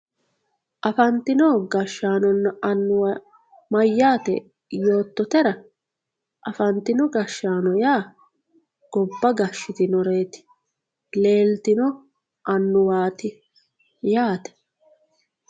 afantino annuwanna gashshaano mayyaate yoottotera afantino gashshaano yaa gobba gashshitinoreeti leetino annuwaati yaate.